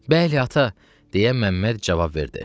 Bəli ata, deyə Məmməd cavab verdi.